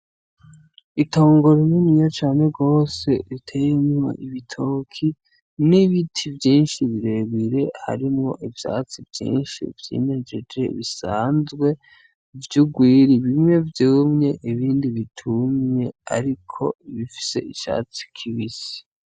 Itongo rininiya cane gose riteyemwo ibitoki n'ibiti vyinshi birebire, harimwo ivyatsi vyinshi vyimejeje bisanzwe vy'urwiri, bimwe vyumye ibindi bitumye ariko bifise icatsi kibisi.